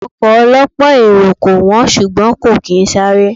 Ọkọ̀ ọ lọ́pọ̀ èrò kò wón, ṣùgbọ́n kò kín sáré.